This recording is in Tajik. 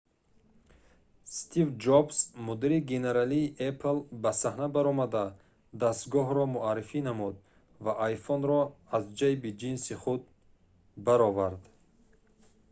стив ҷобс мудири генералии apple ба саҳна баромада дастгоҳро муаррифӣ намуд ва iphone-ро аз ҷайби ҷинси худ баровард